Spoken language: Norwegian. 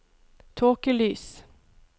tåkelys